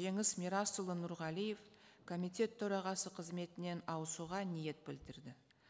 жеңіс мирасұлы нұрғалиев комитет төрағасы қызметінен ауысуға ниет білдірді